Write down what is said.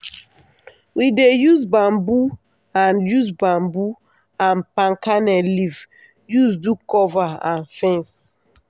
we dey use bamboo and use bamboo and palm kernel leaf use do cover and fence.